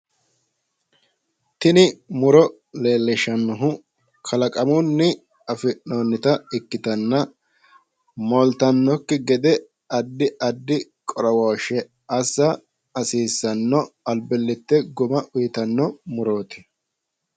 Tini muro leelishanohu kalaqamunitta ikkitanna moolite ba"anokki gede addi addi qo'rowoshshi(agarooshi) assa hasiisano albilite guma uyiitanno murooti.